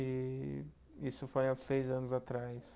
E isso foi há seis anos atrás.